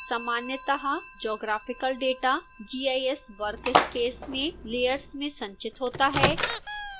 सामान्यतः geographical data gis workspace में layers में संचित होता है